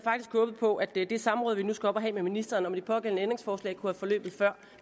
håbet på at det samråd vi nu skal op og have med ministeren om de pågældende ændringsforslag kunne have forløbet før